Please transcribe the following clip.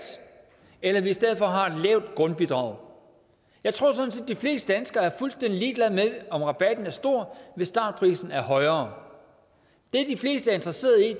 eller om vi i stedet for har et lavt grundbidrag jeg tror sådan set de fleste danskere er fuldstændig ligeglade med om rabatten er stor hvis startprisen er højere det de fleste er interesserede i